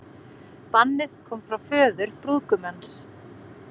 Bannið kom frá föður brúðgumans